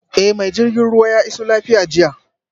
Eh mai jirgin ruwa ya iso lafiya jiya